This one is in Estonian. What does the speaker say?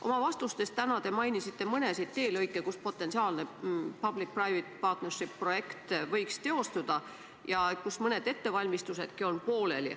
Oma tänastes vastustes mainisite te mõnda teelõiku, kus potentsiaalne public-private partnership projekt võiks teostuda ja kus on mõned ettevalmistusedki pooleli.